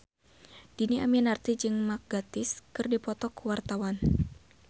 Dhini Aminarti jeung Mark Gatiss keur dipoto ku wartawan